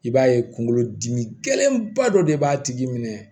I b'a ye kungolo dimi gɛlɛnba dɔ de b'a tigi minɛ